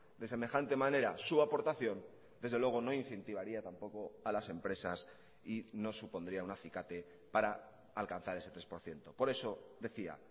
de semejante manera su aportación desde luego no incentivaría tampoco a las empresas y no supondría un acicate para alcanzar ese tres por ciento por eso decía